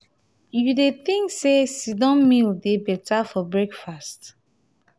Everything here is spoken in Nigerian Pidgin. you dey think say sit-down meal dey beta for breakfast?